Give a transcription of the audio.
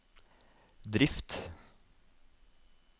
drift